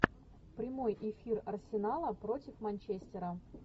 прямой эфир арсенала против манчестера